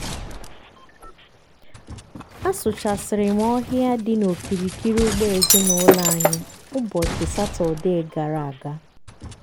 asụchasịrị m ọhịa dị n'okirikiri ugbo ezinụlọ anyị ụbọchị satọdee gara aga.